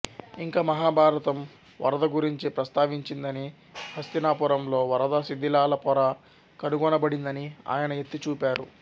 ఇంకా మహాభారతం వరద గురించి ప్రస్తావించిందని హస్తినాపురంలో వరద శిధిలాల పొర కనుగొనబడిందని ఆయన ఎత్తి చూపారు